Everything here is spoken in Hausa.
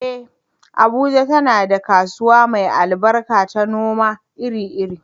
Eh, Abuja tana da kasuwa mai albarka ta noma iri-iri.